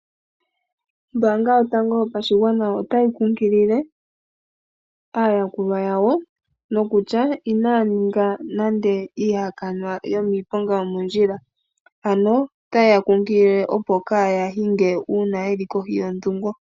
Ombaanga yotango yopashigwana otayi kukilile aayakulwa yawo nokutya inaya ninga nande iihakanwa yomiiponga yomoondjila ano ota yeya kukilile opo kaaya hinge uuna yeli kohi yodhungo.